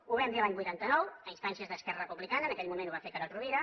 ho vam dir l’any vuitanta nou a instàncies d’esquerra republicana en aquell moment ho va fer carod rovira